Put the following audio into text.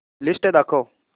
list दाखव